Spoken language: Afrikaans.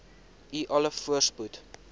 u alle voorspoed